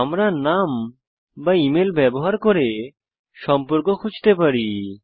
আমরা নাম বা ইমেল ব্যবহার করে সম্পর্ক খুঁজতে পারি